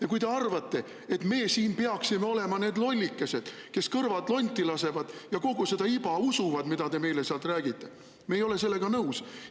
Ja kui te arvate, et meie siin peaksime olema need lollikesed, kes lasevad kõrvad lonti ja usuvad kogu seda iba, mida te meile räägite, siis me ei ole sellega nõus.